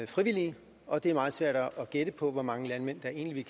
frivillige og det er meget svært at gætte på hvor mange landmænd der egentlig